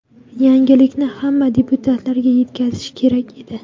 Yangilikni hamma deputatlarga yetkazish kerak edi.